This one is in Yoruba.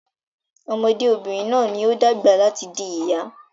Ọmọdé obìnrin náà ní o dàgbà láti di ìyá